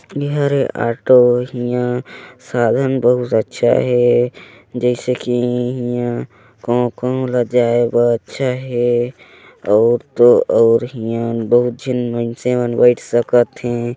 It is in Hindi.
इहरे ऑटो इहा साधन बहुत अच्छा हे जैसे कि इहा कहु- कहु ला जाय बर अच्छा हे औउ तो और इहा झन मनसे मन बैठ सकत हे।